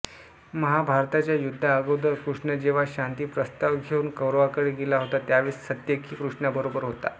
महाभारताच्या युद्धाआगोदर कृष्ण जेव्हा शांती प्रस्ताव घेउन कौरवांकडे गेला होता त्यावेळेस सात्यकी कृष्णाबरोबर होता